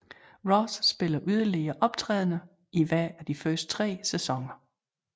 Ross spiller yderligere optrædener i hver af de første tre sæsoner